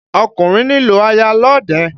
Ọkùnrin nílò aya lọ́ọ̀dẹ̀.